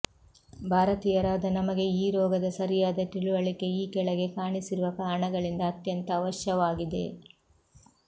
ಭಾರತೀಯರಾದ ನಮಗೆ ಈ ರೋಗದ ಸರಿಯಾದ ತಿಳಿವಳಿಕೆಈ ಕೆಳಗೆ ಕಾಣಿಸಿರುವ ಕಾರಣಗಳಿಂದ ಅತ್ಯಂತ ಅವಶ್ಯವಾಗಿದೆ